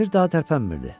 Kəndir daha tərpənmirdi.